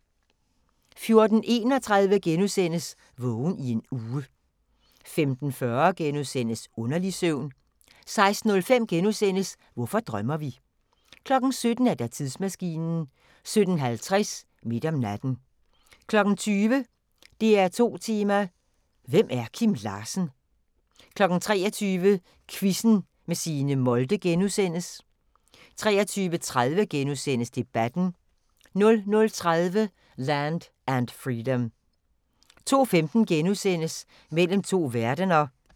14:31: Vågen i en uge * 15:40: Underlig søvn * 16:05: Hvorfor drømmer vi? * 17:00: Tidsmaskinen 17:50: Midt om natten 20:00: DR2 Tema: Hvem er Kim Larsen? 23:00: Quizzen med Signe Molde * 23:30: Debatten * 00:30: Land and Freedom 02:15: Mellem to verdener *